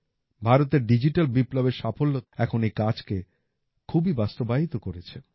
ভারতের ডিজিটাল বিপ্লবের সাফল্যতা এখন এই কাজকে খুবই বাস্তবায়ীত করেছে